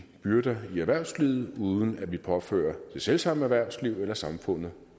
byrder i erhvervslivet uden at vi påfører det selv samme erhvervsliv eller samfundet